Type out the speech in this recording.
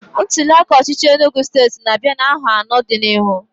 ntuliaka ọchịchị Enugu state n'abia n'aho ano do n'ihu